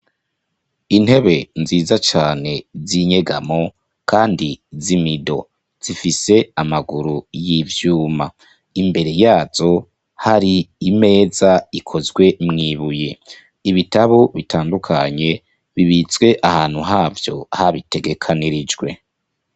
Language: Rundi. Intebe nziza cane zinyegamo kandi z'imido, zifise amaguru y'ivyuma, imbere yazo hari imeza ikozwe mw'ibuye ibitabu bitandukanye, bibitse ahantu havyo habitegekanirijwe.